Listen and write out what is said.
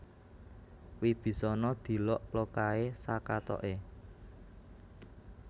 Wibisana dilok lokaé sakatoké